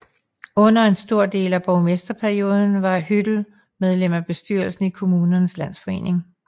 Under en stor del af borgmesterperioden var Hüttel medlem af bestyrelsen i Kommunernes Landsforening